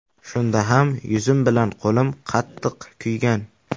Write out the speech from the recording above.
Shunda ham yuzim bilan qo‘lim qattiq kuygan.